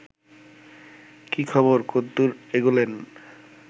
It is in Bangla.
কী খবর কদ্দুর এগোলেন